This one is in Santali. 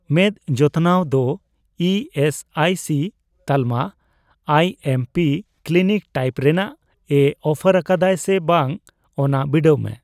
ᱢᱮᱫ ᱡᱚᱛᱚᱱᱟᱣ ᱫᱚ ᱤ ᱮᱥ ᱟᱭ ᱥᱤ ᱛᱟᱞᱢᱟ I M P clinic type ᱨᱮᱱᱟᱜ ᱮ ᱚᱯᱷᱟᱨ ᱟᱠᱟᱫᱟᱭ ᱥᱮ ᱵᱟᱝ ᱚᱱᱟ ᱵᱤᱰᱟᱹᱣ ᱢᱮ ᱾